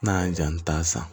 N'a y'a ja an bɛ taa san